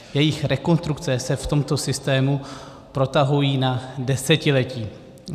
Jejich rekonstrukce se v tomto systému protahují na desetiletí.